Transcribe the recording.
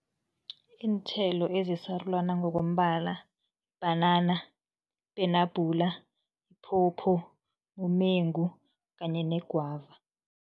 Iinthelo ezisarulana ngokombala, bhanana, penabhula, phopho, umengu kanye negwava.